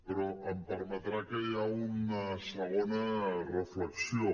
però em permetrà que hi ha una segona reflexió